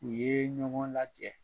U ye ɲɔgɔn lajɛ